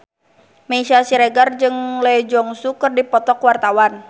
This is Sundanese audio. Meisya Siregar jeung Lee Jeong Suk keur dipoto ku wartawan